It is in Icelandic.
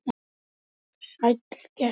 Sæll gæskur.